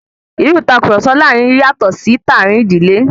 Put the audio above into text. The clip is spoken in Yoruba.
Irú ìtàkurọ̀sọ láàrin yatọ sí ti àárín ìdílé.